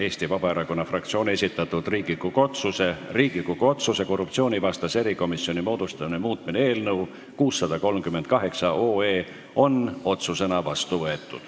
Eesti Vabaerakonna fraktsiooni esitatud Riigikogu otsuse "Riigikogu otsuse "Korruptsioonivastase erikomisjoni moodustamine" muutmine" eelnõu 638 on otsusena vastu võetud.